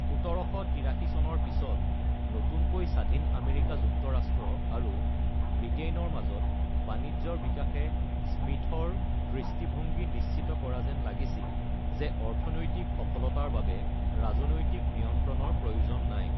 ১৭৮৩ চনৰ পিছত নতুনকৈ স্বাধীন আমেৰিকা যুক্তৰাষ্ট্ৰ আৰু ব্ৰিটেইনৰ মাজত বাণিজ্যৰ বিকাশে স্মিথৰ দৃষ্টিভংগী নিশ্চিত কৰা যেন লাগিছিল যে অৰ্থনৈতিক সফলতাৰ বাবে ৰাজনৈতিক নিয়ন্ত্ৰণৰ প্ৰয়োজন নাই।